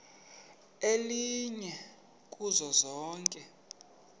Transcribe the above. elinye kuzo zonke